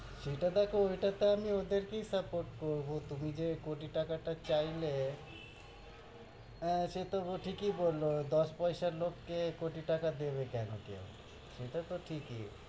সেটা দেখো, ওল্টোতে আমি ওদেরকেই support করব, তুমি যে কোটি টাকা টা চাইলে হ্য়াঁ, সে তো ঠিকি কি বলল, দশ পয়সার লোক কে কোটি টাকা দেবে কেন কেও? ওটা তো ঠিকি,